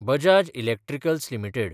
Bajaj electricals limited